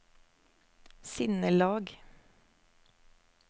sinnelag